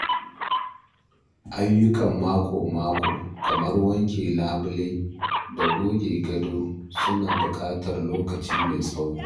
Ayyukan mako-mako kamar wanke labule da goge gado suna buƙatar lokaci mai tsawo.